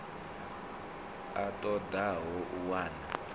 a ṱo ḓaho u wana